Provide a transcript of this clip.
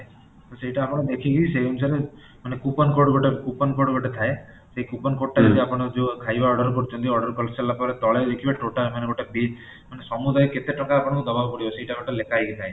ତ ସେଟା ଆପଣ ଦେଖିକି ସେଇ ଅନୁସାରେ ମାନେ coupon code ଗୋଟାଏ coupon code ଗୋଟେ ଥାଏ ସେଇ coupon code ତା ଯଦି ଆପଣ ଯୋଉ ଖାଇବା order କରୁଛନ୍ତି order କରିସାରିଲା ପରେ ଦେଖିବେ ତଳେ ଦେଖିବେ total ମାନେ ଗୋଟେ page ମାନେ ସମୁଦାୟ କେତେ ଟଙ୍କା ଆପଣଙ୍କୁ ଦବାକୁ ପଡିବ ସେଟା ଗୋଟେ ଲେଖା ହେଇକି ଥାଏ